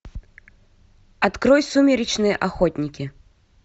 открой сумеречные охотники